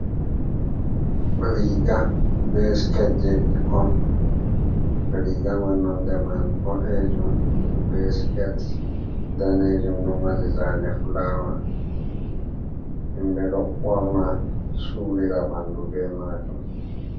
Riga be siket je ɓikkon. Riga man nonde man boɗejum be siket danejum ɗo mari zane fulawa. Himɓe ɗo ɓorna surira ɓandu be majum.